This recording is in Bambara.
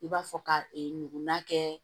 I b'a fɔ ka e nugula kɛ